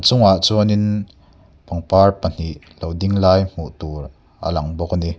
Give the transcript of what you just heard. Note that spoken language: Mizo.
hnung ah chuan in pangpar pahnih lo ding lai hmuh tur a lang bawk a ni.